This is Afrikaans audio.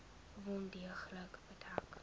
wond deeglik bedek